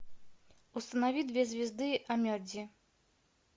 установи две звезды онмеджи